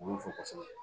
U b'u fo kosɛbɛ